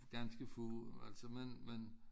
Ganske få altså men men